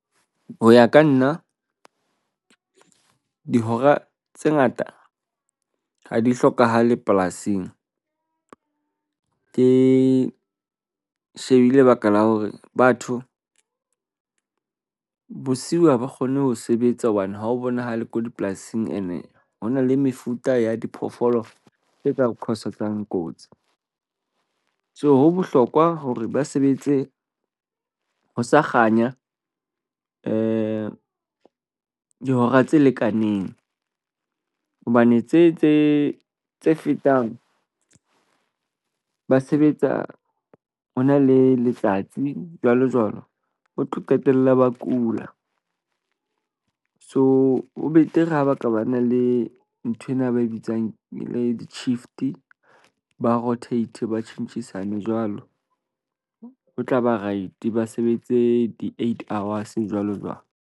Ho ya ka nna, dihora tse ngata ha di hlokahale polasing. Ke shebile lebaka la hore batho bosiu ha ba kgone ho sebetsa hobane ha ho bonahale ko dipolasing ene ho na le mefuta ya diphoofolo tse ka cause-etsang kotsi. So ho bohlokwa hore ba sebetse ho sa kganya dihora tse lekaneng hobane tse tse tse fetang ba sebetsa ho na le letsatsi, jwalo jwalo. Ba tlo qetella ba kula. So ho betere ha ba ka ba na le nthwena, ba e bitswang le di-shift ba rotate. Ba tjhentjhisane jwalo ho tla ba right. Ba sebetse di-eight hours jwalo jwalo.